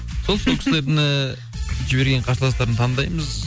сол сол кісілердің ыыы жіберген қарсыластарын таңдаймыз